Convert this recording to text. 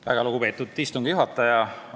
Väga lugupeetud istungi juhataja!